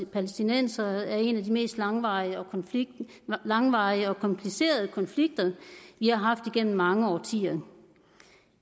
palæstinensere er en af de mest langvarige og langvarige og komplicerede konflikter vi har haft gennem mange årtier